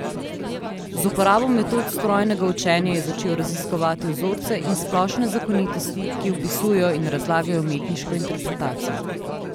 Z uporabo metod strojnega učenja je začel raziskovati vzorce in splošne zakonitosti, ki opisujejo in razlagajo umetniško interpretacijo.